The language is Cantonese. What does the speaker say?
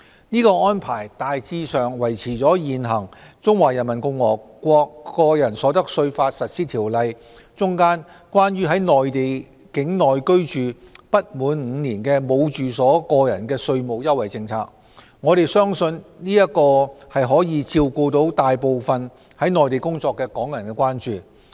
此安排大致維持了現行《中華人民共和國個人所得稅法實施條例》中，有關在內地境內居住不滿5年而無住所個人的稅務優惠政策，我們相信這將可以照顧大部分在內地工作的港人的關注。